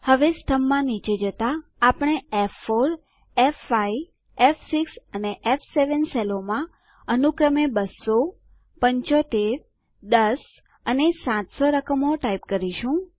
હવે સ્તંભમાં નીચે જતા આપણે f4f5ફ6 અને ફ7 સેલોમાં અનુક્રમે 2007510 અને 700 રકમો ટાઈપ કરીશું